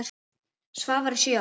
Svavari sjö ára.